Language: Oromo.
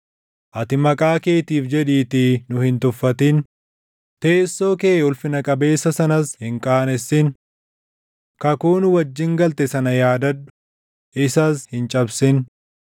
Ati maqaa keetiif jedhiitii nu hin tuffatin; teessoo kee ulfina qabeessa sanas hin qaanessin. Kakuu nu wajjin galte sana yaadadhu; isas hin cabsin.